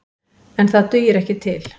En það dugir ekki til.